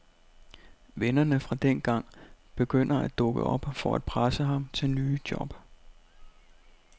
Vennerne fra dengang begynder at dukke op for at presse ham til nye job.